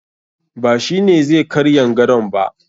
Ba shi ne zai karyan gadon ba